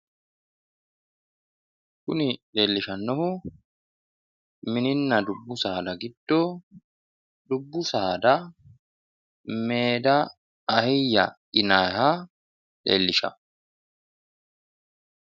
kuni leellishshannohu mininna dubbu saada giddo dubbu saada meeda ahiyya yinayiiha leellishsha.